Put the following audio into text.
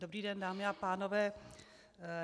Dobrý den dámy a pánové.